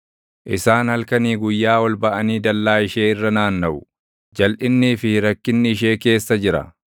Isaan halkanii guyyaa ol baʼanii dallaa ishee irra naannaʼu; jalʼinnii fi rakkinni ishee keessa jira.